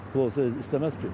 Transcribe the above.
Pulu olsa istəməz ki.